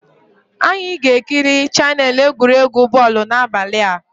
Anyị ga-ekiri chaneelụ egwuregwu bọl n'abalị a